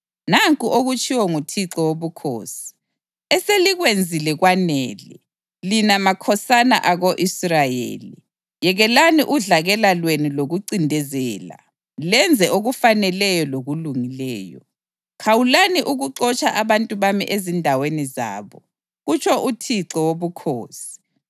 Nanku okutshiwo nguThixo Wobukhosi: Eselikwenzile kwanele, lina makhosana ako-Israyeli! Yekelani udlakela lwenu lokuncindezela lenze okufaneleyo lokulungileyo. Khawulani ukuxotsha abantu bami ezindaweni zabo, kutsho uThixo Wobukhosi.